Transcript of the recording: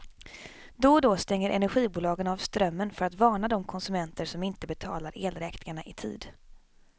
Då och då stänger energibolagen av strömmen för att varna de konsumenter som inte betalar elräkningarna i tid.